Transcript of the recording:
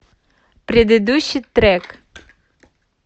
предыдущий трек